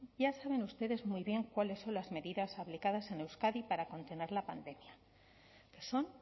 ya saben ustedes muy bien cuáles son las medidas aplicadas en euskadi para contener la pandemia son